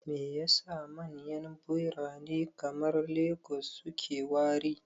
Me yasa manyan birane kamar Lagos suke wari?